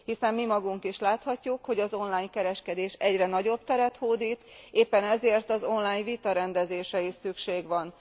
Hiszen mi magunk is láthatjuk, hogy az online kereskedés egyre nagyobb teret hódít, éppen ezért az online vitarendezésre is szükség van.